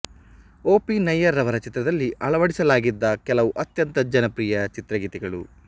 ಒ P Nayyar ರವರ ಚಿತ್ರದಲ್ಲಿ ಅಳವಡಿಸಲಾಗಿದ್ದ ಕೆಲವು ಅತ್ಯಂತ ಜನಪ್ರಿಯ ಚಿತ್ರಗೀತೆಗಳು